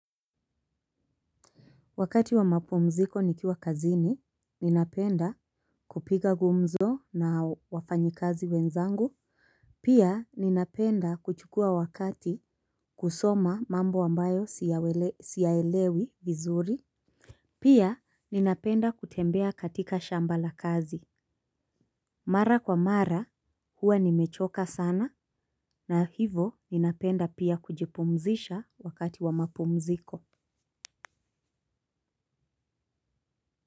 Wakati wa mapumziko nikiwa kazini, ninapenda kupiga gumzo na wafanyikazi wenzangu. Pia ninapenda kuchukua wakati kusoma mambo ambayo siyaelewi vizuri. Pia ninapenda kutembea katika shamba la kazi. Mara kwa mara huwa nimechoka sana na hivo ninapenda pia kujipumzisha wakati wa mapumziko.